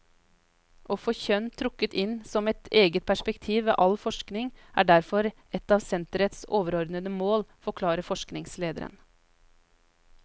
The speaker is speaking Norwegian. Å få kjønn trukket inn som et eget perspektiv ved all forskning er derfor et av senterets overordnede mål, forklarer forskningslederen.